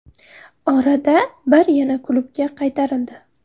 Orada bir yana klubga qaytarildi.